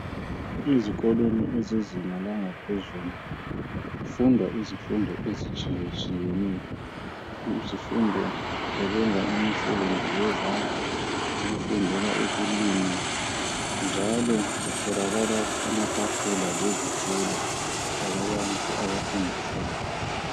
Ezikolweni ezezinga langaphezulu kufundwa izifundo ezitshiye tshiyeneyo izifundo zokwenza imisebenzi yezandla ukufundela ukulima njalo kutholakala amatafula lezitulo lababalisi abafundisayo.